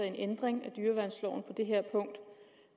en ændring af dyreværnsloven på det her punkt